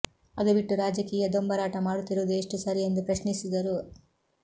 ಅದು ಬಿಟ್ಟು ರಾಜಕೀಯ ದೊಂಬರಾಟ ಮಾಡುತ್ತಿರುವುದು ಎಷ್ಟು ಸರಿ ಎಂದು ಪ್ರಶ್ನಿಸಿದರು